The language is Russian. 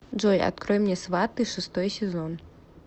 джой открой мне сваты шестой сезон